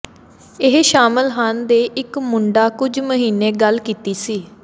ਇਹ ਸ਼ਾਮਲ ਹਨ ਦੇ ਇੱਕ ਮੁੰਡਾ ਕੁਝ ਮਹੀਨੇ ਗੱਲ ਕੀਤੀ ਸੀ